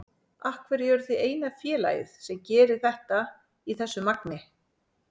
Af hverju eruð þið eina félagið sem gerir þetta í þessu magni?